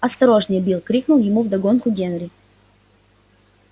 осторожнее билл крикнул ему вдогонку генри